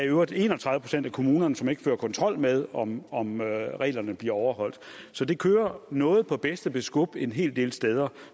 øvrigt en og tredive procent af kommunerne som ikke fører kontrol med om om reglerne bliver overholdt så det kører noget på bedste beskub en hel del steder